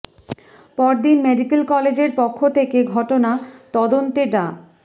পর দিন মেডিক্যাল কলেজের পক্ষ থেকে ঘটনা তদন্তে ডা